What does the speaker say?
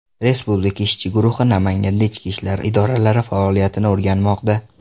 Respublika ishchi guruhi Namanganda ichki ishlar idoralari faoliyatini o‘rganmoqda.